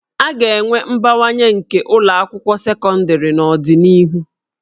A ga-enwe mbawanye nke ụlọ akwụkwọ sekọndịrị n'ọdịnihu